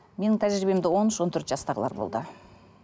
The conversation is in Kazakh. менің тәжәрибемде он үш он төрт жастағылар болды